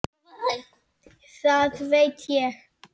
Það veit ég.